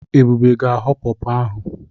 Ebube ga-agho pọrpọr ahụ.